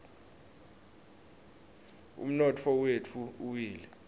umnotfo wetfu uwile